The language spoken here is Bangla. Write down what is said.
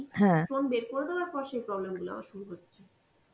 stone বের করে দেওয়ার পর সে problem গুলো আমার শুরু হচ্ছে